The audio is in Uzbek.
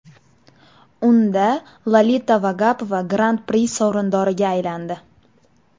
Unda Lolita Vagapova Gran-pri sovrindoriga aylandi.